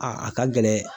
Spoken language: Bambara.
A a ka gɛlɛn